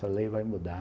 Essa lei vai mudar.